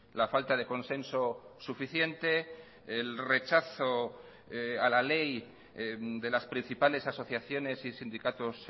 la falta de consenso suficiente el rechazo a la ley de las principales asociaciones y sindicatos